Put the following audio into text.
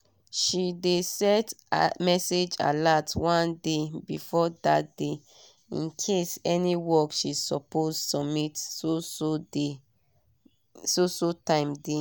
she dey set message alert one day before dat day incase any work she suppose submit so so time dey